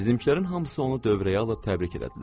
Bizimkilərin hamısı onu dövrəyə alıb təbrik elədilər.